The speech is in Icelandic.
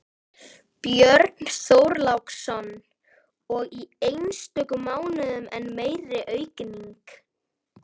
Björn Þorláksson: Og í einstökum mánuðum enn meiri aukning?